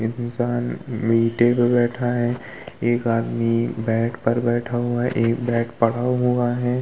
एक इंसान बैठा है। एक आदमी बेड पर बैठा हुआ है। एक बेड ( पड़ा हुआ है।